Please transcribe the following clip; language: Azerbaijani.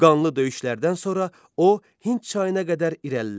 Qanlı döyüşlərdən sonra o Hind çayına qədər irəlilədi.